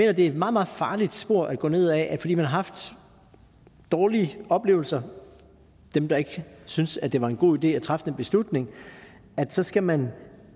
at det er et meget meget farlig spor at gå ned ad altså at fordi man har haft dårlige oplevelser dem der ikke syntes at det var en god idé at træffe den beslutning så skal man